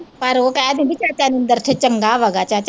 ਪਰ ਉਹ ਕਹਿ ਦਿੰਦੀ ਚਾਚਾ ਨਿੰਦਰ ਅਖੇ ਚੰਗਾ ਵਾ ਗਾ ਚਾ